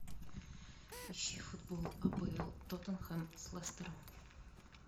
ищи футбол апл тоттенхэм с лестером